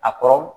A kɔrɔ